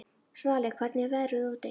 Svali, hvernig er veðrið úti?